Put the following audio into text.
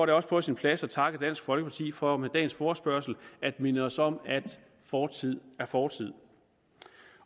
det også på sin plads at takke dansk folkeparti for med dagens forespørgsel at minde os om at fortid er fortid